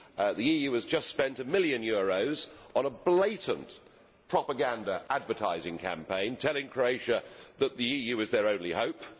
the EU has just spent a million euros on a blatant propaganda advertising campaign telling Croatia that the EU is their only hope.